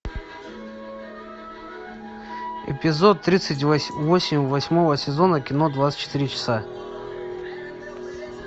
эпизод тридцать восемь восьмого сезона кино двадцать четыре часа